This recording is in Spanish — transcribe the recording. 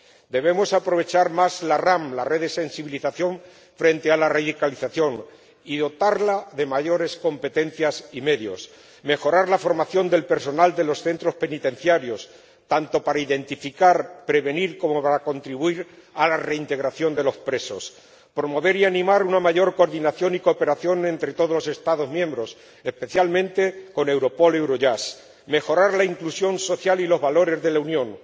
Debemos aprovechar más la SRS —la Red para la Sensibilización frente a la Radicalización— y dotarla de mayores competencias y medios, mejorar la formación del personal de los centros penitenciarios, tanto para identificar y prevenir como para contribuir a la reintegración de los presos, promover y animar una mayor coordinación y cooperación entre todos los Estados miembros, especialmente con Europol y Eurojust, y mejorar la inclusión social y los valores de la Unión.